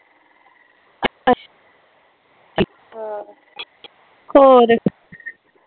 ਆਹ ਹੋਰ